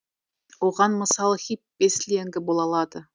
оған мысал хиппи сленгі бола алады